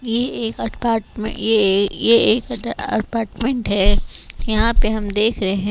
ये एक अटपाटमेंट ये ये एक अ अटपाटमेंट है यहाँ पे हम देख रहे --